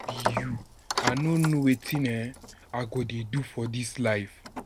be you, I no know wetin um I go dey do for dis life.